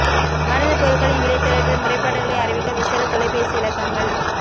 மருந்து பொருட்களின் விலை தொடர்பில் முறைப்பாடுகளை அறிவிக்க விசேட தொலைபேசி இலக்கங்கள்